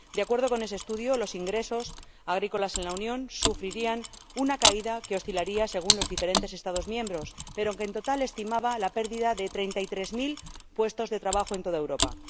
De acuerdo con ese estudio, los ingresos agrícolas en la Unión sufrirían una caída que oscilaría según los diferentes Estados miembros, pero, en total, se estimaba una pérdida de treinta y tres mil puestos de trabajo en toda Europa.